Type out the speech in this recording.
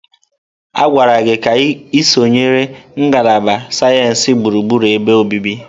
A gwara gị ka ị sonyere ngalaba sayensị gburugburu ebe obibi!